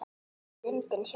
Lundinn sjálfur